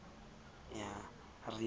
re na ke a mo